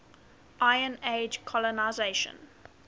iron age colonisation